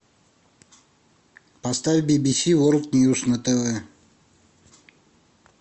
поставь би би си ворлд ньюс на тв